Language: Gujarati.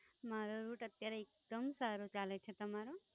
મારો Rut અત્યારે એકદમ સારો ચાલે છે, તમારો?